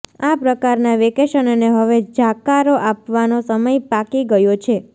આ પ્રકારનાં વેકેશનને હવે જાકારો આપવાનો સમય પાકી ગયો છે